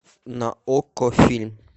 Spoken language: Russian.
на окко фильм